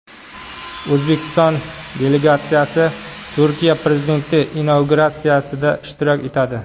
O‘zbekiston delegatsiyasi Turkiya prezidenti inauguratsiyasida ishtirok etadi.